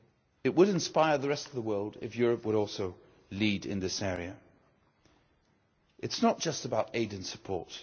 It would inspire the rest of the world if Europe were also to lead in this area. It is not just about aid and support.